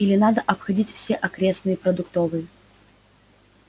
или надо обходить все окрестные продуктовые